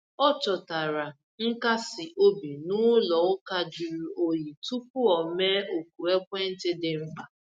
O chọtara nkasi obi n’ụlọ ụka jụrụ oyi tupu o mee oku ekwentị dị mkpa.